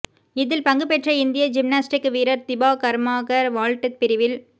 இதில் பங்குபெற்ற இந்திய ஜிம்னாஸ்டிக் வீரர் திபா கர்மாகர் வால்ட் பிரிவில்